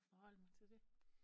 Og forholde mig til det